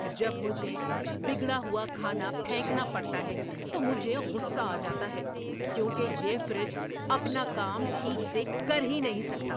جب مجھے بگڑا ہوا کھانا پھینکنا پڑتا ہے تو مجھے غصہ آ جاتا ہے کیونکہ یہ فریج اپنا کام ٹھیک سے کر ہی نہیں سکتا!